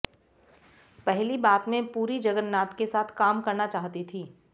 पहली बात मैं पुरी जगन्नाथ के साथ काम करना चाहती थी